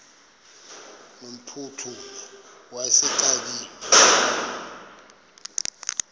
no mphuthumi wayexakiwe